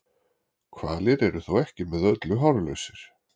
Hvalir eru þó ekki með öllu hárlausir.